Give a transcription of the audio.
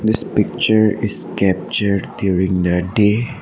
This picture is captured during the day.